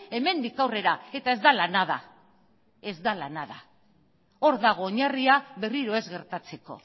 hemendik aurrera eta ez da la nada ez da la nada hor dago oinarria berriro ez gertatzeko